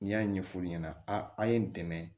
N'i y'a ɲɛ f'u ɲɛna a ye n dɛmɛ